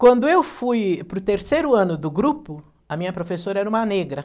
Quando eu fui para o terceiro ano do grupo, a minha professora era uma negra.